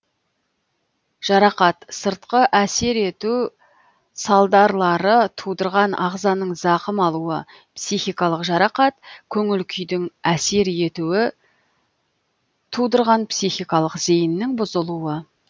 жарақат сыртқы әсер ету салдарлары тудырған ағзаның зақым алуы психикалық жарақат көңіл күйдің әсер етуі тудырған психикалық зейіннің бұзылуы